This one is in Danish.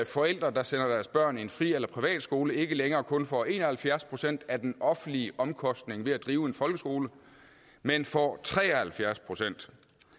forældre der sender deres børn i en fri eller privatskole ikke længere kun får en og halvfjerds procent af den offentlige omkostning ved at drive en folkeskole men får tre og halvfjerds procent